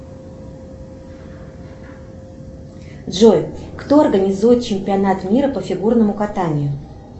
джой кто организует чемпионат мира по фигурному катанию